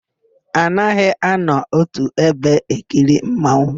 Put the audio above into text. A naghị anọ ótù ebe ekiri mmanwụ.